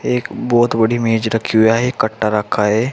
एक बहोत बड़ी मेज रखी हुआ है एक कट्टा रखा हुआ है।